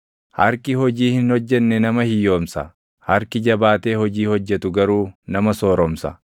Harki hojii hin hojjenne nama hiyyoomsa; harki jabaatee hojii hojjetu garuu nama sooromsa.